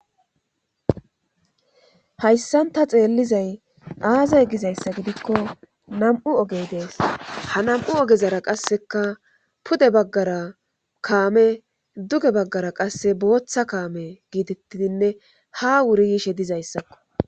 Hayssan taxeellizay aaza gizayssa gidikko nam'u ogey dees hanam'u ogezara qasseka pude baggara kaame duge baggara qasse booththa kaame giitettidinne ha wuri yishe dizayssakko.